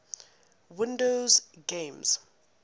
windows games